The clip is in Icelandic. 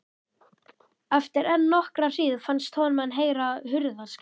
Eftir enn nokkra hríð fannst honum hann heyra hurðarskell.